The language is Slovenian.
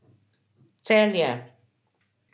Celje.